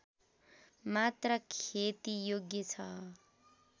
मात्र खेतीयोग्य छ